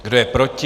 Kdo je proti?